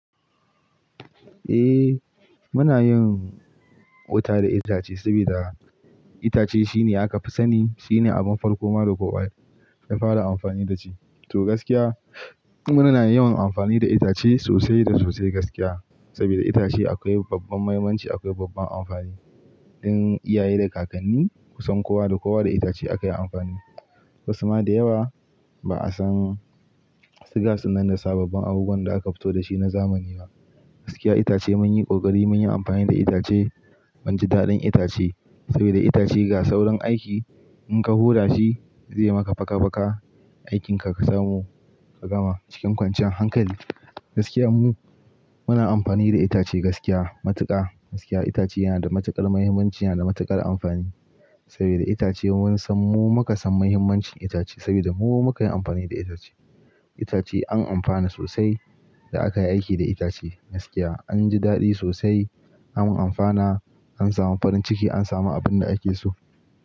Eh, muna yin wuta da itace saboda itace shine aka fi sani, shine abin farko ma da kowa ya fara amfani da shi. To gaskiya, muna yawan amfani da itace sosai da sosai gaskiya saboda itace akwai babban mahimmanci, akwai babban amfani. Don iyaye da kakanni, kusan kowa da kowa da itace aka yi amfani. Wasu ma da yawa ba'a san su gas dinnan da sababbin abubuwan da aka fito da shi na zamani nan, gaskiya itace mun yi ƙoƙari, mun yi amfani da itace, mun ji daɗin itace saboda itace ga saurin aiki, in ka hura shi zai maka faka-faka, aikinka ka samu ka gama cikin kwanciyan hankali. Gaskiya mu muna amfani da itace gaskiya matuƙa. Gaskiya itace yana da matuƙar mahimmanci, yana da matuƙar amfani saboda itace mun san mu muka san mahimmancin itace saboda mu muka yi amfani da itace. Itace an amfana sosai da aka yi aiki da itace gaskiya. An ji daɗi sosai, an amfana, an samu farin ciki, an samu abinda ake so.